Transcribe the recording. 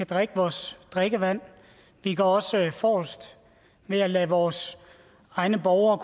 drikke vores drikkevand vi går også forrest ved at lade vores egne borgere